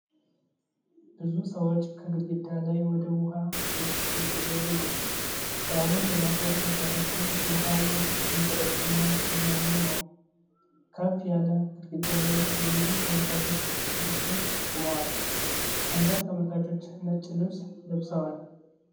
ብዙ ሰዎች ከግድግዳ ላይ ወደ ውኃ ውስጥ እየዘለሉ ነው። በዓሉን ለማክበር ወጣቶቹ ውሃው ውስጥ እየተረጩና እየዋኙ ነው። ከፍ ያለ ግድግዳ ላይ የብዙ ተመልካቾች ስብስብ ቆሞአል። አንዳንድ ተመልካቾች ነጭ ልብስ ለብሰዋል።